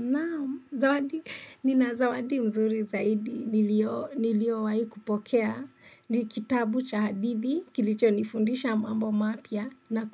Nao, nina zawadi mzuri zaidi, niliowahi kupokea ni kitabu cha hadithi, kilicho nifundisha mambo mapya na